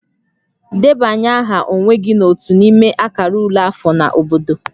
Debanye aha onwe gị n'otu n'ime akara ule afọ na obodo